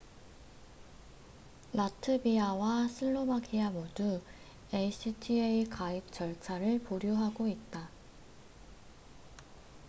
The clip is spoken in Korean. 라트비아와 슬로바키아 모두 acta 가입 절차를 보류하고 있다